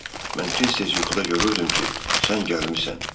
Mən tez-tez yuxuda görürdüm ki, sən gəlmisən.